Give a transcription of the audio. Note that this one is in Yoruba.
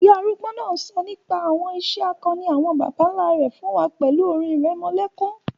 Ìyá arúgbó náà sọ nípa àwọn ìṣe akọni àwọn bàbá nlá rẹ̀ fún wa pẹ̀lú orin ìrẹmọlẹ́kún